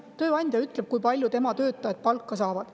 Tööandja ütleb, kui palju tema töötajad palka saavad.